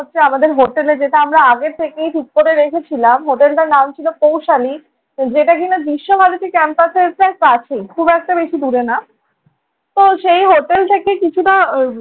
আমাদের হোটেলে যেটা আমরা আগে থেকে ঠিক করে রেখেছিলাম, হোটেলটার নাম ছিল কৌশালী যেটা কিনা বিশ্বভারতী ক্যাম্পাসের প্রায় কাছেই। খুব একটা বেশি দূরে না। তো সেই হোটেল থেকে কিছুটা